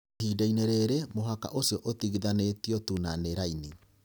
Ihinda-inĩ rĩrĩ, mũhaka ũcio ũtigithanĩtio tu na ni raini.